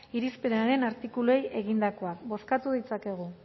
irizpenaren artikuluei egindakoak bozkatu ditzakegu